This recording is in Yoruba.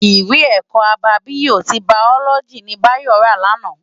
Iwé èkò ábábiyó ti báyólòji ni Bayo rá làná